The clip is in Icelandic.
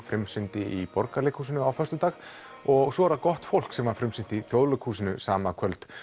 frumsýndi í Borgarleikhúsinu á föstudag og svo er það gott fólk sem var frumsýnt í Þjóðleikhúsinu sama kvöld